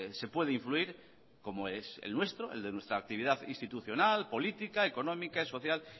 se puede influir como es el nuestro el de nuestra actividad institucional política económica y social